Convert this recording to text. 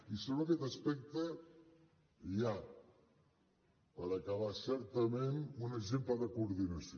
i sobre aquest aspecte hi ha per acabar certament un exemple de coordinació